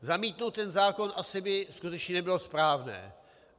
Zamítnout ten zákon asi by skutečně nebylo správné.